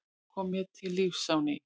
Það kom mér til lífs á ný.